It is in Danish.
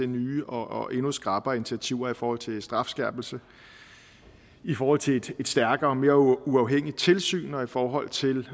nye og endnu skrappere initiativer i forhold til strafskærpelse i forhold til et stærkere og mere uafhængigt tilsyn og i forhold til